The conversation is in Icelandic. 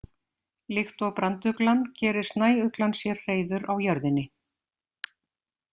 Líkt og branduglan gerir snæuglan sér hreiður á jörðinni.